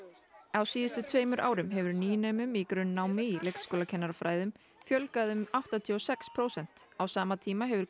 á síðustu tveimur árum hefur nýnemum í grunnnámi í leikskólakennarafræðum fjölgað um áttatíu og sex prósent á sama tíma hefur